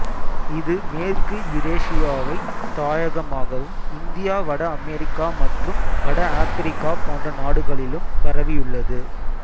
இது மேற்கு யுரேசியாவை தாயகமாகவும் இந்தியா வட அமெரிக்கா மற்றும் வட ஆப்பிரிக்கா போன்ற நாடுகளிலும் பரவியுள்ளது